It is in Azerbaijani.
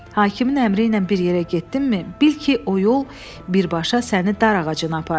Hakimin əmri ilə bir yerə getdinmi, bil ki, o yol birbaşa səni dar ağacına aparır.